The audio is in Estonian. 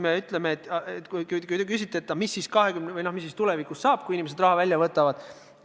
Te küsite, mis siis tulevikus saab, kui inimesed raha välja võtavad.